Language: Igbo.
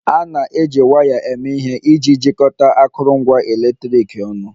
A na-eji waya eme ihe iji jikọta akụrụngwa eletriki ọnụ